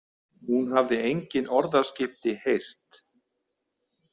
Hún hafði engin orðaskipti heyrt.